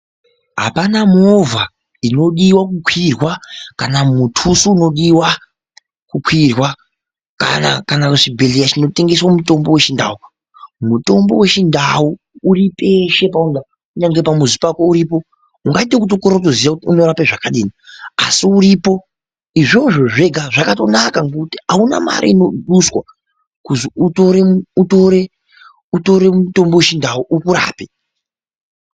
Apana movha inodiwa kukwirwa kana mutuso unodiwa kukwina kana kana chibhedhlera chinotengesa mutombo wechindau , mutombo wechindau uripeshe paunoda kunyange pamuzi pako uripo ungaite wekutokorera kuziya kuti unorape zvakadini asi uripo, izvozvo zvega zvakatonaka ngokuti auna mare inodiwa kuzi utore utore utore mutombo wechindau ukurape.